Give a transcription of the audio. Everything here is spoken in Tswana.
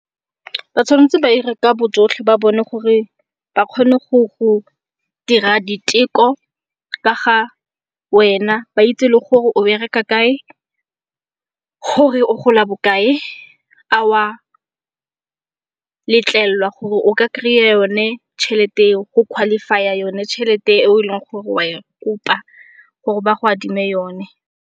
Ba tshwanetse ba ire ka bojotlhe ba bone gore ba kgone go dira diteko ka ga wena. Ba itse le gore o bereka kae, gore o gola bokae a oa letlelelwa gore o ka kry-a yone tšhelete eo, o qualify-a yone tšhelete eo e leng gore oa e kopa gore ba go adime yone.